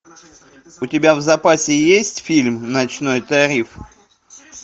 у тебя в запасе есть фильм ночной тариф